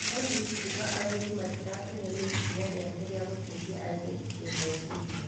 Olive kuga athuri matirakenio nĩ ikinya rĩake rĩa gũteithia airĩtu kĩmeciria.